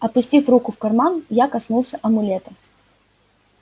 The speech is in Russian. опустив руку в карман я коснулся амулета